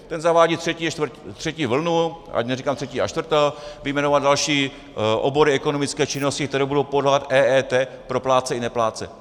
Ten zavádí třetí vlnu, ať neříkám třetí a čtvrtou, vyjmenovat další obory ekonomické činnosti, které budou podléhat EET pro plátce i neplátce.